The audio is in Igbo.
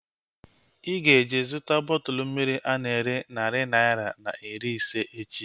Ịga eje zụta bọtụlu mmiri ana ere narị naira na iri ise echi